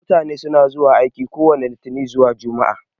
Mutane na zuwa aiki kowani litinin zuwa jumaa